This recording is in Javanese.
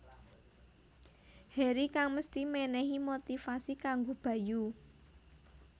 Heri kang mesthi mènèhi motivasi kanggo Bayu